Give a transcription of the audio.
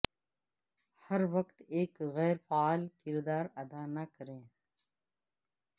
ہر وقت ایک غیر فعال کردار ادا نہ کریں